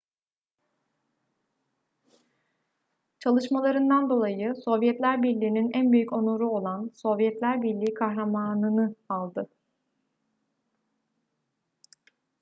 çalışmalarından dolayı sovyetler birliği'nin en büyük onuru olan sovyetler birliği kahramanı nı aldı